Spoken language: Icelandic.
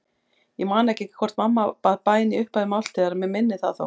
Ég man ekki hvort mamma bað bæn í upphafi máltíðar, mig minnir það þó.